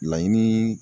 Laɲini